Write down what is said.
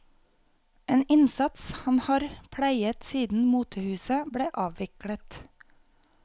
En innsats han har pleiet siden motehuset ble avviklet.